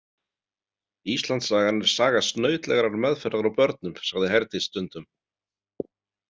Íslandssagan er saga snautlegrar meðferðar á börnum, sagði Herdís stundum.